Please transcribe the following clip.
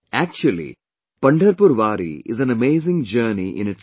Actually, Pandharpur Wari is an amazing journey in itself